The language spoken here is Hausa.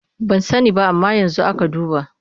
Ban sani ba amma yanzu aka duba.